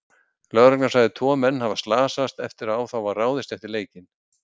Lögregla sagði tvo menn hafa slasast eftir að á þá var ráðist eftir leikinn.